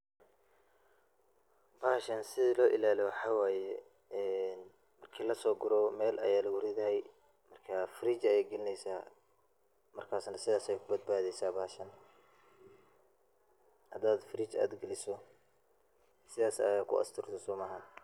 Bahashan sida loo ilaaliyo waxaa waye ee marki lasoo guro meel ayaa lagu ridaa ,markaa fridge ayaa galineysaa, markaas na sidaas ayey ku badbadeysaa bahasha .Hadaad fridge aad galiso sidaas ayaad ku asturtay somaaha.